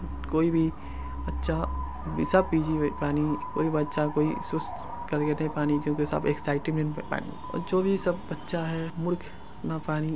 ---जो भी सब बच्चा है मूर्ख सब---